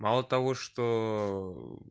мало того что